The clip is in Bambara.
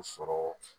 U sɔrɔ